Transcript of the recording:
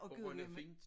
Og rønne-fint